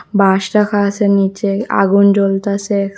বাঁশ রাখা আসে নীচে আগুন জ্বলতাসে।